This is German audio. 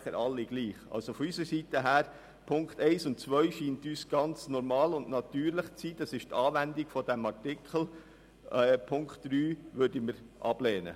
Von unserer Seite scheinen uns die Punkte 1 und 2 ganz normal und natürlich im Sinn einer Anwendung des Artikels zu sein.